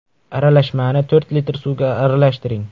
Aralashmani to‘rt litr suvga aralashtiring.